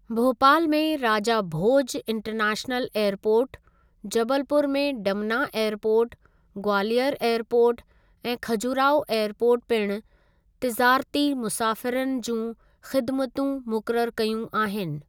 भोपाल में Raja Bhoj international airport, Jabalpur में Dumna airport, Gwalior airport ऐं खजुराहो एअरपोर्ट पिणु तिज़ारती मुसाफ़िरनि जियुं ख़िदमतूं मुक़ररु कयूं आहिनि।